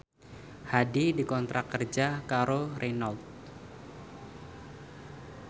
Hadi dikontrak kerja karo Renault